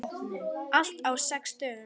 Allt á sex dögum.